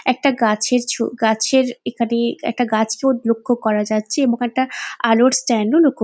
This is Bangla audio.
একটা গাছের ছ গাছের এখানে একটা গাছ লক্ষ্য করা যাচ্ছে এবং একটা আলোর স্ট্যান্ড ও লক্ষ্য --